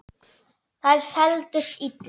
Þær seldust illa.